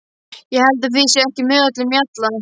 Ég held að þið séuð ekki með öllum mjalla!